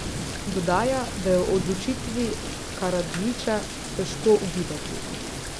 Dodaja, da je o odločitvi Karadžića težko ugibati.